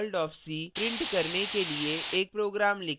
welcome to the world of c print करने के लिए एक program लिखें